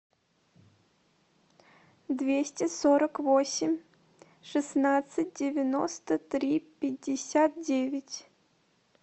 двести сорок восемь шестнадцать девяносто три пятьдесят девять